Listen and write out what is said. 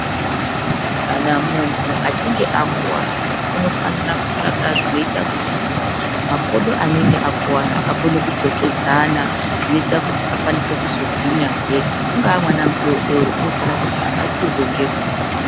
Kana munhu achinge akuwara unofanira kutsvaka zvinoita kuti makodho anenge akuvara akone kudzokedzana neta kuti akwanise kuzogwinya hee. Unga mwana mudodori unofanira kuti abatsirwe ngenguva.